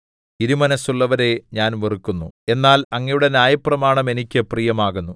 ഇരുമനസ്സുള്ളവരെ ഞാൻ വെറുക്കുന്നു എന്നാൽ അങ്ങയുടെ ന്യായപ്രമാണം എനിക്ക് പ്രിയമാകുന്നു